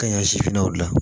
Kaɲa sifinna u la